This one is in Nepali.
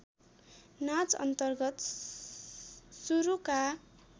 नाच अन्तर्गत सुरुका